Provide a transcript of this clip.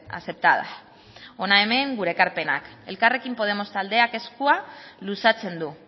aceptadas hona hemen gure ekarpenak elkarrekin podemos taldeak eskua luzatzen du